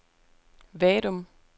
Vadum